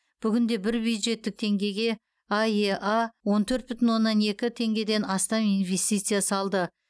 бүгінде бір бюджеттік теңгеге аэа он төрт бүтін оннан екі теңгеден астам инвестиция салды